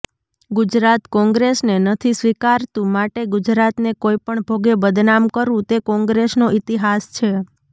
ગુજરાત કોંગ્રેસને નથી સ્વીકારતું માટે ગુજરાતને કોઈ પણ ભોગે બદનામ કરવું તે કોંગ્રેસનો ઈતિહાસ છે